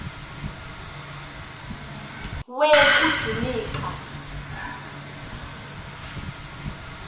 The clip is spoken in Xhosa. we kujuni ka